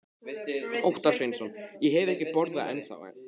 Óttar Sveinsson: Ég hef ekki borðað eina ennþá?